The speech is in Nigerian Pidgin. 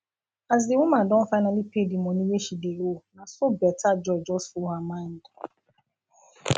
as di woman don finally pay the money wey she dey owe naso better joy just full her mind